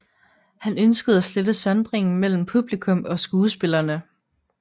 Han ønskede at slette sondringen mellem publikum og skuespillerne